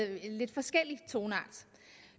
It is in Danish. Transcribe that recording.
lidt forskellig toneart